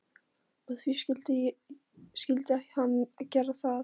Og því skyldi hann gera það.